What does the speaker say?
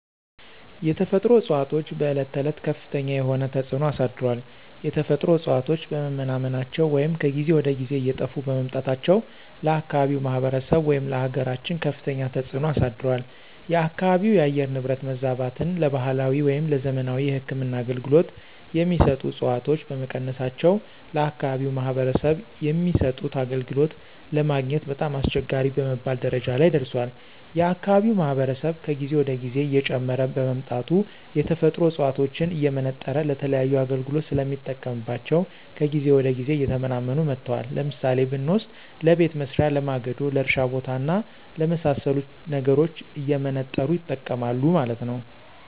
የተፈጥሮ እፅዋቶች በዕለት ተዕለት ከፍተኛ የሆነ ተፅዕኖ አሳድሯል። የተፈጥሮ እፅዋቶች በመመናመናቸው ወይም ከጊዜ ወደ ጊዜ እየጠፉ በመምጣታቸው ለአካባቢው ማህበረሰብ ወይም ለአገራችን ከፍተኛ ተፅዕኖ አሳድሯል። የአካባቢው የአየር ንብረት መዛባትን ለባህላዊ ወይም ለዘመናዊ የህክምና አገልገሎት የሚሰጡ ዕፅዋቶች በመቀነሳቸው ለአከባቢው ማህበረሰብ የሚሰጡት አገልግሎት ለማግኘት በጣም አስቸጋሪ በመባል ደረጃ ላይ ደርሷል። የአካባቢው ማህበረሰብ ከጊዜ ወደ ጊዜ እየጨመረ በመምጣቱ የተፈጥሮ ዕፅዋቶችን እየመነጠረ ለተለያዩ አገልግሎት ስለሚጠቀምባቸው ከጊዜ ወደ ጊዜ እየተመናመኑ መጥተዋል። ለምሳሌ ብንወስድ ለቤት መሥሪያ፣ ለማገዶ፣ ለእርሻ ቦታ እና ለመሣሰሉት ነገሮች እየመነጠሩ ይጠቀማሉ ማለት ነው።